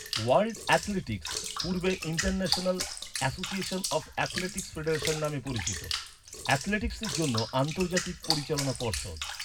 World athletics, পূর্বে international association of athletics federation নামে পরিচিত, অ্যাথলেটিক্সের জন্য আন্তর্জাতিক পরিচালনা পর্ষদ।